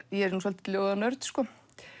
ég er nú svolítill ljóðanörd sko